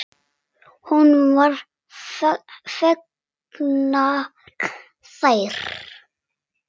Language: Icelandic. Honum voru fengnar þær.